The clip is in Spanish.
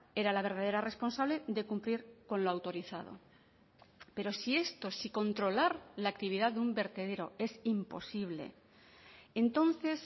era la verdadera responsable de cumplir con lo autorizado pero si esto si controlar la actividad de un vertedero es imposible entonces